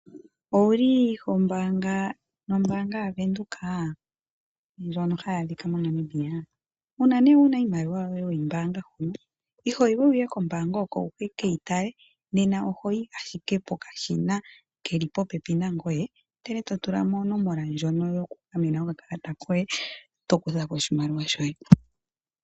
Owuli hombaanga nombaanga yaVenduka? Ndjono hayi adhika moNamibia? Uuna nee wuna iimaliwa yoye weyi mbaanga hono ihoyi we wuye kombaanga oko wukeyi tale. Nena ohoyi pokashina keli popepi nangoye ndele totula mo onomola ndjono yokugamena okakalata koye eto kutha ko oshimaliwa shoye.